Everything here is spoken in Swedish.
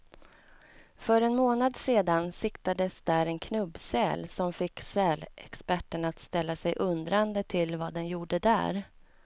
För en månad sedan siktades där en knubbsäl, som fick sälexperterna att ställa sig undrande till vad den gjorde där.